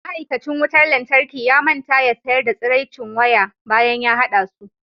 ma'aikacin wutar lantarki ya manta ya sayar da tsiraicin waya bayan ya hada su